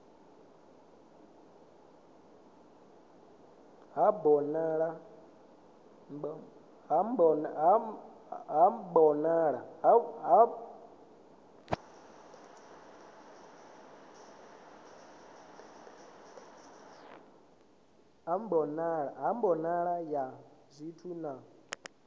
ha mbonalo ya zwithu na